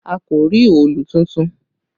A kò rí òòlù tuntun